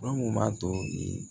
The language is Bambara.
Fɛn mun b'a to i